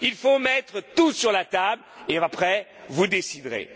Il faut mettre tout sur la table et après, vous